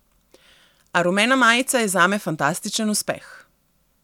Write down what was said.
A rumena majica je zame fantastičen uspeh.